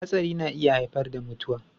Hatsari na iya haifar da mutuwa.